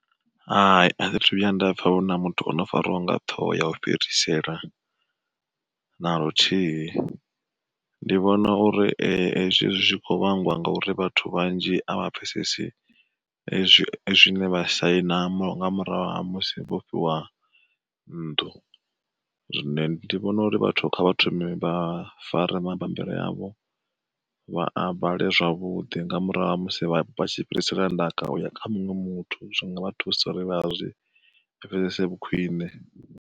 Hai a thi thu vhuya nda pfha vho na muthu ono fariwa nga ṱhoho ya u fhirisela na luthihi. Ndi vhona uri ezwi hezwi zwi kho vhangwa ngauri vhathu vhanzhi a vha pfhesesi zwine vha saina, nga murahu ha musi vhofhiwa nnḓu, zwine ndi vhona uri vhathu kha vhathu vha fare mabambiri avho, vha a vhale zwavhuḓi nga murahu ha musi vha tshi fhirisela ndaka kha muṅwe muthu zwinga thusa uri vha zwi pfhesesi vhu khwiṋe.